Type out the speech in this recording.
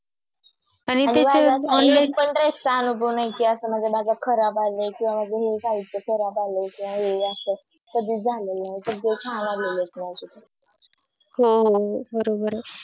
आणि असा अनुभव नाही कि असा कि माझं खराब आला आहे किंवा माझं हेसाहित्य खराब आलाय कि हे असं सगळं छान आलेले आहेत माझं